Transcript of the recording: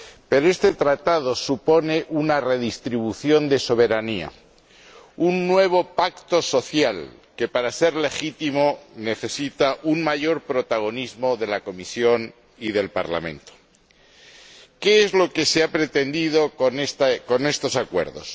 Pero este tratado supone una redistribución de soberanía, un nuevo pacto social, que, para ser legítimo, necesita un mayor protagonismo de la Comisión y del Parlamento. ¿Qué es lo que se ha pretendido con estos acuerdos?